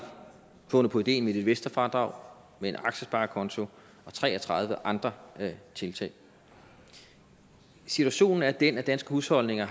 fundet på ideen med et investorfradrag en aktiesparekonto og tre og tredive andre tiltag situationen er den at danske husholdninger